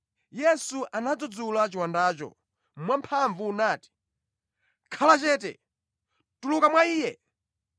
Yesu anadzudzula chiwandacho mwamphamvu nati, “Khala chete! Tuluka mwa iye!”